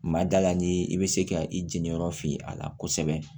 Ma da la ni i bɛ se ka i jeniyɔrɔ fiye a la kosɛbɛ